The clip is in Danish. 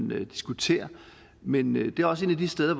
man diskuterer men men det er også et af de steder